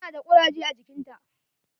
Ta na da kuraje a jikinta.